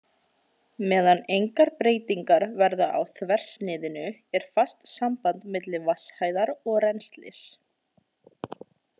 Meðan engar breytingar verða á þversniðinu er fast samband milli vatnshæðar og rennslis.